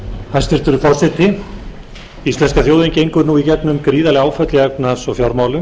forseti íslenska þjóðin gengur nú í gegnum gríðarleg áföll í efnahags og fjármálum